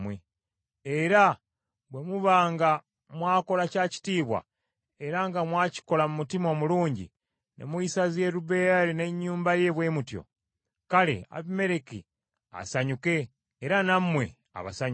era bwe muba nga mwakola kya kitiibwa era nga mwakikola mu mutima omulungi ne muyisa Yerubbaali n’ennyumba ye bwe mutyo, kale Abimereki asanyuke, era nammwe abasanyuse.